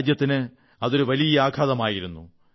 രാജ്യത്തിന് അതൊരു വലിയ ആഘാതമായിരുന്നു